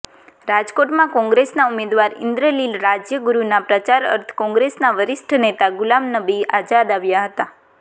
રાજકોટમાં કોંગ્રેસના ઉમેદવાર ઈન્દ્રનીલ રાજ્યગુરુના પ્રચાર અર્થે કોંગ્રેસના વરિષ્ઠ નેતા ગુલામનબી આઝાદ આવ્યા હતા